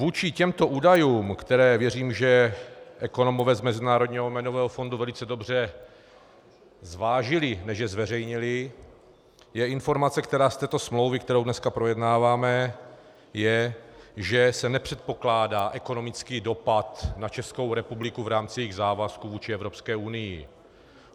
Vůči těmto údajům, které věřím, že ekonomové z Mezinárodního měnového fondu velice dobře zvážili, než je zveřejnili, je informace, která z této smlouvy, kterou dneska projednáváme, je, že se nepředpokládá ekonomický dopad na Českou republiku v rámci jejích závazků vůči Evropské unii.